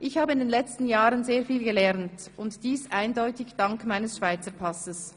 Ich habe in den letzten Jahren sehr viel gelernt und dies eindeutig dank meines Schweizer Passes.